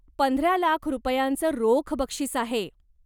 पंधरा लाख रुपयांचं रोख बक्षीस आहे.